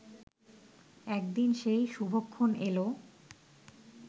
একদিন সেই শুভক্ষণ এল